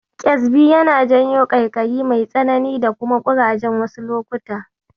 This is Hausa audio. Ƙyezbi yana janyo ƙaiƙayi mai tsanani da kuma ƙuraje wasu lokutan.